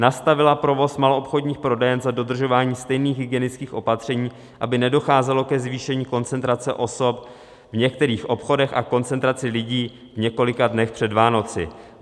nastavila provoz maloobchodních prodejen za dodržování stejných hygienických opatření, aby nedocházelo ke zvýšení koncentrace osob v některých obchodech a koncentraci lidí v několika dnech před Vánoci.